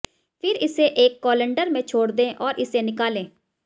फिर इसे एक कोलंडर में छोड़ दें और इसे निकालें